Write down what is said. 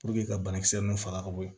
ka banakisɛ nunnu faga ka bɔ yen